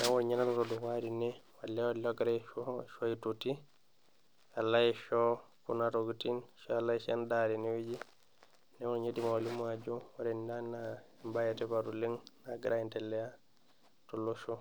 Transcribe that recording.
neku ninye naloito dukuya tene. olee ogira aisho ashu aitoti, alo aisho kuna tokitin ashu alo aisho edaa tene wueji. neeku ninye aidim atolimu ajo ore ena naa ebae etipat oleng nagira endelea tolosho.